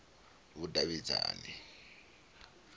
vhudavhidzani